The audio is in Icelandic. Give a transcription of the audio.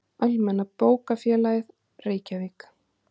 Almenna bókafélagið, Reykjavík.